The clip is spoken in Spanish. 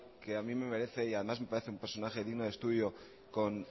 que a mí me merece y además me parece un personaje digno de estudio con